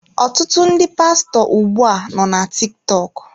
Ọtụtụ ndị pastọ ugbu a nọ na TikTok.